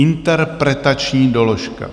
Interpretační doložka.